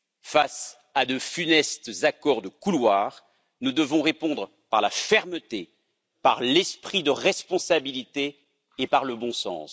Face à de funestes accords de couloirs, nous devons répondre par la fermeté, par l'esprit de responsabilité et par le bon sens.